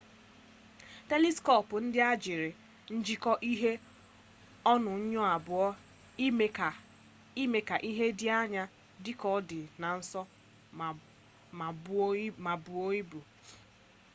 teliskop ndị a jiri njiko ihe onuonyo abụọ ime ka ihe dị anya dị ka ọ dị nso ma ma buo ibu